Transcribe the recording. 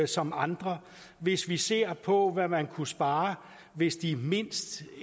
som andre hvis vi ser på hvad man kunne spare hvis de mindst